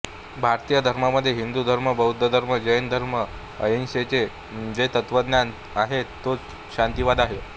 भारतीय धर्मांमध्ये हिंदू धर्म बौद्ध धर्म जैन धर्म अहिंसेचे जे तत्त्वज्ञान आहे तोच शांतीवाद आहे